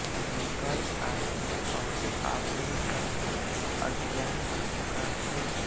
निकल आए और आपने कहा यह अज्ञान की पुकार कैसी